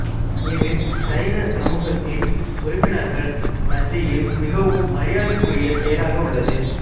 இது சைன சமூகத்தின் உறுப்பினர்கள் மத்தியில் மிகவும் மரியாதைக்குரிய செயலாக உள்ளது